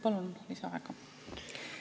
Palun lisaaega!